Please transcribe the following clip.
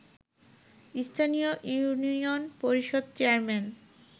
স্থানীয় ইউনিয়ন পরিষদ চেয়ারম্যান